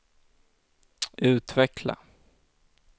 utveckla